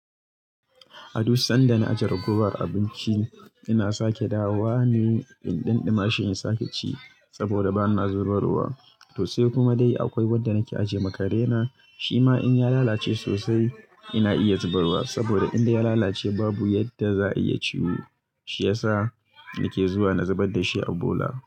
A duk sanda na aje ragowar abinci ina sake dawa ne in ɗin ɗimashi in sake ci saboda bana zubarwa. To sai kuma dai akwai wadda nake ajiye ma kare na shima in ya lalace sosai ina iya zubarwa saboda indai ya lalace babu yadda za'ayi ya ciwu. Shi yasa nake zuwa na zubar da shi a bola.